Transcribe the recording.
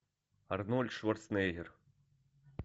арнольд шварценеггер